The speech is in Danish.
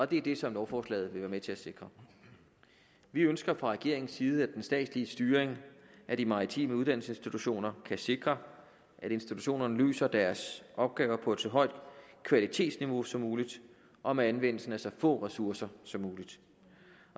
det er det som lovforslaget vil være med til at sikre vi ønsker fra regeringens side at den statslige styring af de maritime uddannelsesinstitutioner kan sikre at institutionerne løser deres opgaver på et så højt kvalitetsniveau som muligt og med anvendelse af så få ressourcer som muligt